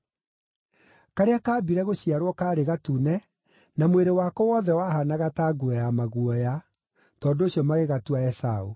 Karĩa kaambire gũciarwo kaarĩ gatune na mwĩrĩ wako wothe wahaanaga ta nguo ya maguoya; tondũ ũcio magĩgatua Esaũ.